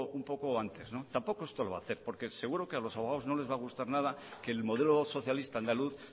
un poco antes tampoco esto lo va a hacer porque seguro que a los abogados no les va a gustar nada que el modelo socialista andaluz